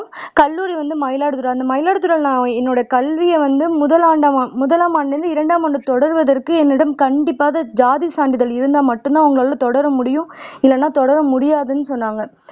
கல்லூரி வந்து மயிலாடுதுறை அந்த மயிலாடுதுறை நான் என்னோட கல்வியை வந்து முதல் முதலாம் ஆண்டிலிருந்து இரண்டாம் ஆண்டு தொடர்வதற்கு என்னிடம் கண்டிப்பாக ஜாதி சான்றிதழ் இருந்தா மட்டும்தான் உங்களால தொடர முடியும் இல்லேனா தொடர முடியாதுன்னு சொன்னாங்க